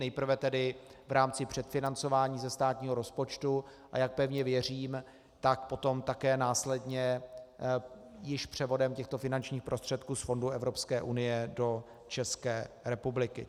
Nejprve tedy v rámci předfinancování ze státního rozpočtu, a jak pevně věřím, tak potom také následně již převodem těchto finančních prostředků z fondů Evropské unie do České republiky.